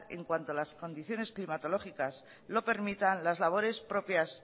en cuanto las condiciones climatológicas lo permitan las labores propias